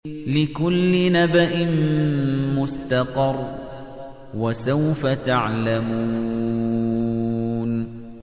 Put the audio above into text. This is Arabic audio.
لِّكُلِّ نَبَإٍ مُّسْتَقَرٌّ ۚ وَسَوْفَ تَعْلَمُونَ